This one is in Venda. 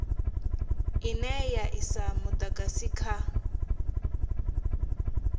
ine ya isa mudagasi kha